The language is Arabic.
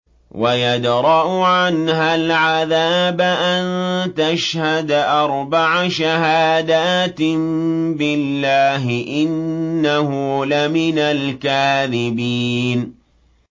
وَيَدْرَأُ عَنْهَا الْعَذَابَ أَن تَشْهَدَ أَرْبَعَ شَهَادَاتٍ بِاللَّهِ ۙ إِنَّهُ لَمِنَ الْكَاذِبِينَ